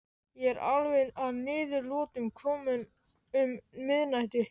Ég var alveg að niðurlotum kominn um miðnætti.